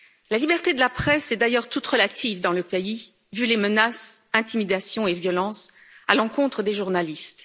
La liberté de la presse est d'ailleurs toute relative dans le pays vu les menaces, intimidations et violences à l'encontre des journalistes.